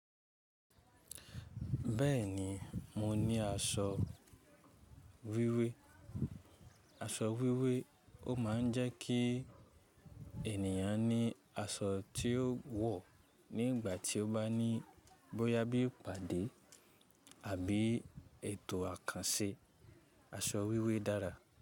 Bẹ́ẹ̀ni, mo ní aṣọ wíwé. Aṣọ wíwé, ó ma ń jẹ́ kí ènìyàn ní aṣọ tí ó wọ̀ ní ìgbà tí ó bá ní bóyá bí ìpàdé àbí ètò àkànṣe. Aṣọ wíwé dára.